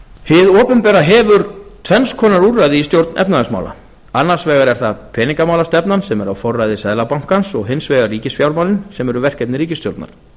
hið opinbera hefur tvenns konar úrræði í stjórn efnahagsmála annars vegar er það peningamálastefnan sem er á forræði seðlabankans og hins vegar ríkisfjármálin sem eru verkefni ríkisstjórnar